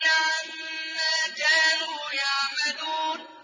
عَمَّا كَانُوا يَعْمَلُونَ